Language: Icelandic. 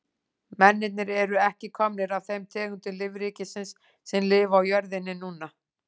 Mennirnir eru ekki komnir af þeim tegundum lífríkisins sem lifa á jörðinni núna.